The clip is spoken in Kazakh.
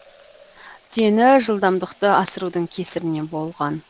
дені жылдамдықты асырудың кесірінен болған